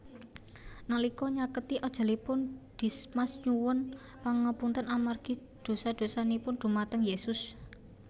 Nalika nyaketi ajalipun Dismas nyuwun pangapunten amargi dosa dosanipun dhumateng Yésus